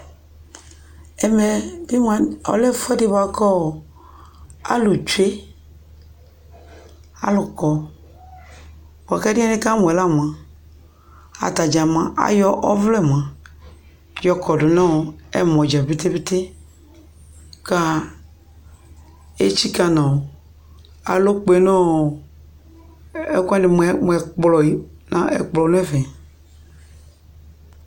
Ɛmɛ bɩ mʋa, ɔlɛ ɛfʋɛdɩ bʋa kʋ ɔ alʋ tsue Alʋ kɔ bʋa kʋ ɛdɩ yɛ nɩkamʋ yɛ la mʋa, ata dza ayɔ ɔvlɛ mʋa, yɔkɔdʋ nʋ ɛmɔdza pete-pete kʋ etsikǝ nʋ alɔ kpe nʋ ɔ ɛkʋ wanɩ mʋ ɛkplɔ e Ɛkplɔ nʋ ɛfɛ